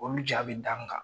Olu ja bi da n kan.